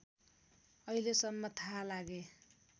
अहिलेसम्म थाहा लागे